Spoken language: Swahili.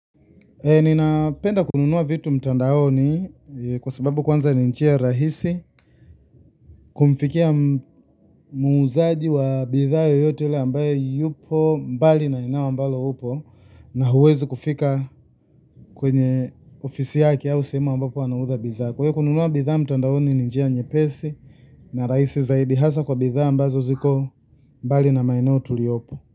Ninapenda kununua vitu mtandaoni kwa sababu kwanza ni njia rahisi kumfikia muuzaji wa bidhaa yoyote ambaye yupo mbali na ulipo na huwezi kufika kwenye ofisi yake au sehemu ambapo anauzia bidhaa. Kwa hiyo kununua bidhaa mtandaoni ni njia nyepesi na rahisi zaidi, hasa kwa bidhaa ambazo ziko mbali na maeneo tuliyopo.